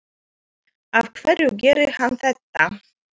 Af hverju gerir hann þetta?